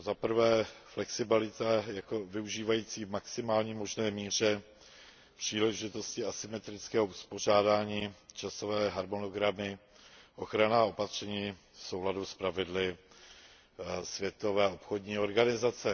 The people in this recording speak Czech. A to za prvé flexibility využívající v maximální možné míře příležitosti asymetrického uspořádání, časové harmonogramy, ochranná opatření v souladu s pravidly Světové obchodní organizace.